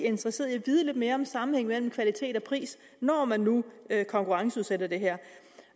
interesseret i at vide lidt mere om sammenhængen mellem kvalitet og pris når man nu konkurrenceudsætter det her